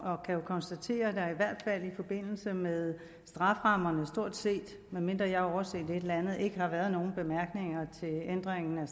og kan konstatere at der i hvert fald i forbindelse med strafferammerne medmindre jeg har overset et eller andet ikke har været nogen bemærkninger til ændringen af